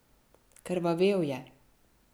Krvavel je.